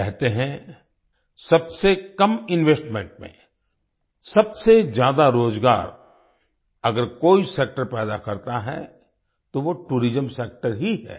कहते हैं सबसे कम इन्वेस्टमेंट में सबसे ज्यादा रोजगार अगर कोई सेक्टर पैदा करता है तो वोटूरिज्म सेक्टर ही है